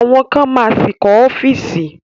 Àwọn kan ma ṣì kọ́ ọ́fíìsì